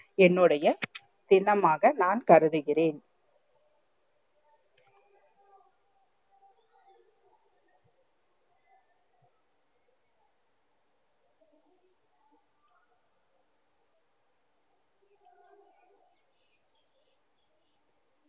என்னுடைய தினமாக நான் கருதுகிறேன்